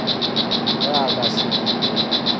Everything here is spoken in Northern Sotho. ge a ka se dire